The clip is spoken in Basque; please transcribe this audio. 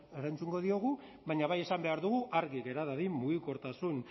erantzungo diogu baina bai esan behar dugu argi gera dadin mugikortasun